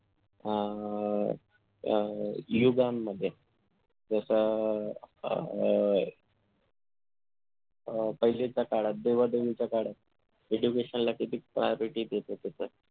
अह युगांमध्ये जस अह पाहीलेच्या काळात देवा देवीच्या काळात education ला किती जे priority देत होतं